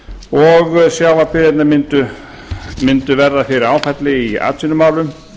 og sjávarbyggðirnar mundu verða fyrir áfalli í atvinnumálum